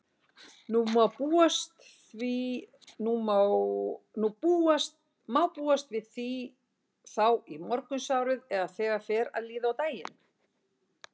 Má búast við því þá í morgunsárið eða þegar fer að líða á daginn?